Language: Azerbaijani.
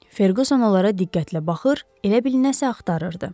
Ferquson onlara diqqətlə baxır, elə bil nəsə axtarırdı.